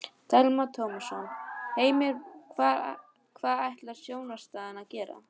Telma Tómasson: Heimir hvað ætlar stjórnarandstaðan að gera?